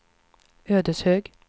Ödeshög